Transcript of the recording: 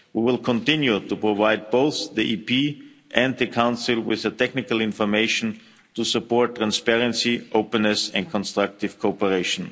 We will continue to provide both Parliament and the Council with the technical information to support transparency, openness and constructive cooperation.